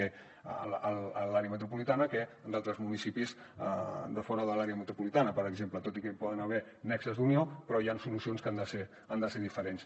que a l’àrea metropolitana que en d’altres municipis de fora de l’àrea metropolitana per exemple tot i que hi poden haver nexes d’unió però hi ha solucions que han de ser diferents